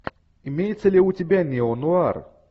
имеется ли у тебя неонуар